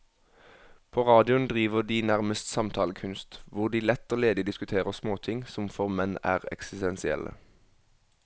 På radioen driver de nærmest samtalekunst, hvor de lett og ledig diskuterer småting som for menn er eksistensielle.